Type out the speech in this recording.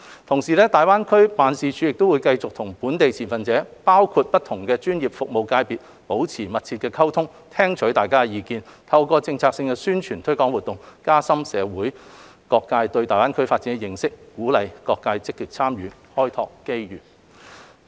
同時，大灣區辦公室會繼續與本地的持份者，包括不同專業服務界別保持密切溝通，聽取相關意見，透過策略性的宣傳推廣活動，加深社會各界對大灣區發展的認識，鼓勵各界積極參與，開拓機遇。